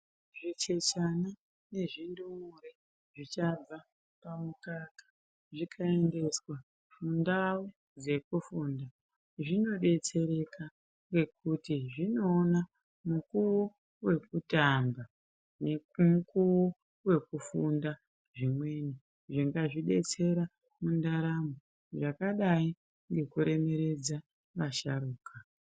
Zvichechana nezvindumure zvichabva pamukaka, zvikaendeswa mundau dzekufunda, zvinodetsereka ngekuti zvinoona mukuwo wekutamba nemukuwo wekufunda zvimweni zvingazvidetsera mundaramo, zvakadayi ngekuremeredza vasharuka.